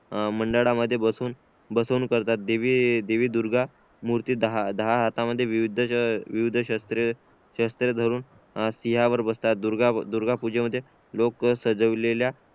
मंडळा मध्ये बसवून करतात देवी देवी दुर्गा मूर्ती दहा दहा हात मध्ये विविध शास्त्र धरून सिंहावर बसतात दुर्गा पूजे मध्ये लोक सजवलेल्या